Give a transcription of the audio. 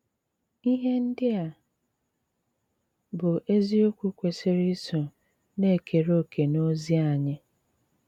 Íhé ndí à bụ́ ézíòkwù kwesírè ísó ná-ékeré òké n’òzí ányị́.